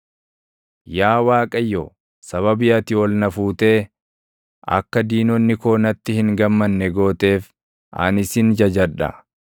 Yaa Waaqayyo, sababii ati ol na fuutee akka diinonni koo natti hin gammanne gooteef, ani sin jajadha.